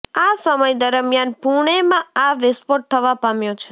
આ સમય દરમિયાન પુણેમાં આ વિસ્ફોટ થવા પામ્યો છે